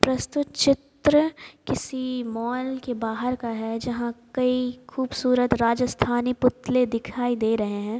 प्रस्तुत चित्र किसी मॉल के बाहर का है जहां कई खूबसूरत राजस्थानी पुतले दिखाई दे रहे हैं।